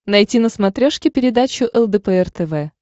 найти на смотрешке передачу лдпр тв